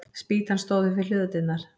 Spýtan stóð upp við hlöðudyrnar.